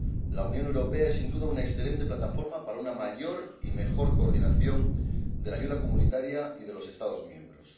La Unión Europea es sin duda una excelente plataforma para una mayor y mejor coordinación de la ayuda comunitaria y de los Estados miembros.